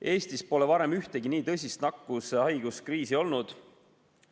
Eestis pole varem ühtegi nii tõsist nakkushaiguse kriisi olnud.